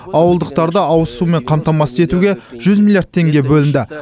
ауылдықтарды ауыз сумен қамтамасыз етуге жүз миллиард теңге бөлінді